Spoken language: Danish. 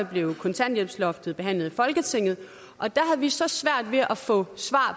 blev kontanthjælpsloftet behandlet i folketinget og der havde vi så svært ved at få svar